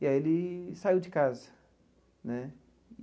E aí ele saiu de casa né.